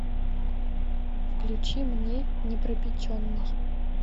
включи мне непропеченный